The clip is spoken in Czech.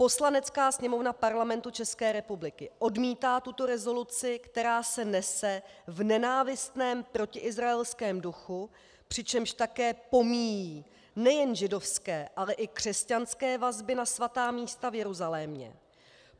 Poslanecká sněmovna Parlamentu České republiky odmítá tuto rezoluci, která se nese v nenávistném protiizraelském duchu, přičemž také pomíjí nejen židovské, ale i křesťanské vazby na svatá místa v Jeruzalémě.